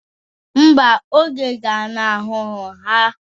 Mba, oge ganahụrụ ha.